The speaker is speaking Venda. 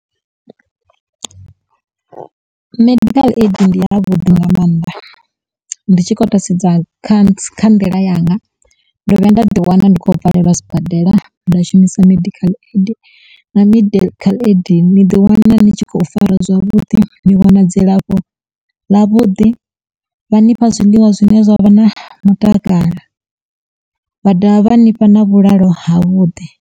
Medical aid ndi ya vhuḓi nga maanḓa ndi tshi khou tou sedza khanthu kha nḓila yanga ndo vhuya nda ḓi wana ndi kho valelwa sibadela nda shumisa medical aid na medical aid ni di wana ndi tshi khou farwa zwavhuḓi, ni wana dzilafho ḽa vhuḓi vha nifha zwiḽiwa zwine zwa vha na mutakalo vha dovha vha nifha na vhulalo ha vhuḓi.